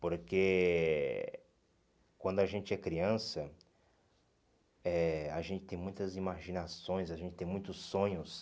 Porque quando a gente é criança, eh a gente tem muitas imaginações, a gente tem muitos sonhos.